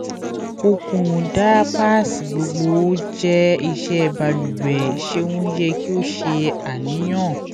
o kun diapers gbogbo o jẹ iṣẹ baluwe ṣeun yẹ ki o ṣe aniyan